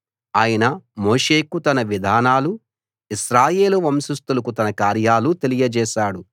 ఆయన మోషేకు తన విధానాలూ ఇశ్రాయేలు వంశస్థులకు తన కార్యాలూ తెలియచేశాడు